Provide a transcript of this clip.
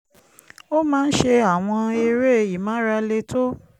ó ó máa ń ṣe àwọn eré ìmárale tó